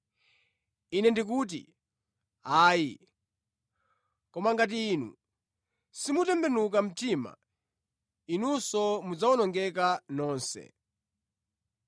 Ine ndikuti, ayi! Koma ngati inu simutembenuka mtima, inunso mudzawonongeka nonse.